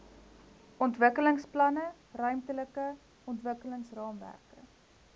ontwikkelingsplanne ruimtelike ontwikkelingsraamwerke